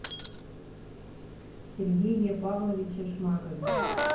сергее павловиче шмакове